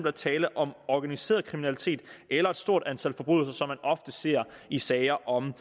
er tale om organiseret kriminalitet eller et stort antal forbrydelser som man ofte ser i sager om